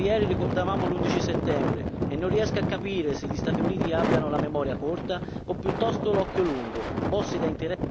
Proprio ieri ricordavamo l'11 settembre e non riesco a capire se gli Stati Uniti abbiano la memoria corta o piuttosto l'occhio lungo, mossi da interessi